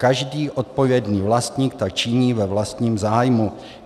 Každý odpovědný vlastník tak činí ve vlastním zájmu.